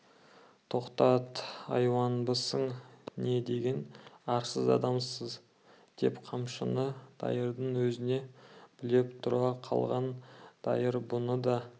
тоқтат айуанбысың не деген арсыз адамсың деп қамшыны дайырдың өзіне білеп тұра қалған дайыр бұны да